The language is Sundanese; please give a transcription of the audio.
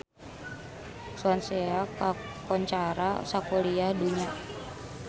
Swansea kakoncara sakuliah dunya